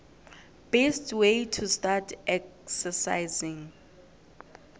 best way to start exercising